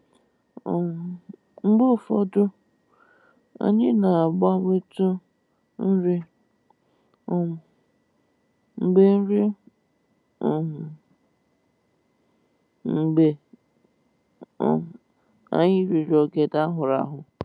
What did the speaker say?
um Mgbe ụfọdụ, anyị na-agbanwetụ nri um mgbe nri um mgbe um anyị riri ogede a hụrụ ahụ